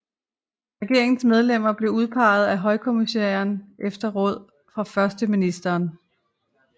Regeringens medlemmer blev udpegede af højkommissæren efter råd fra førsteministeren